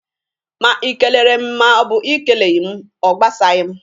Ma i kelele m ma ọ bụ i keleghi m, ọ gbasaghi m.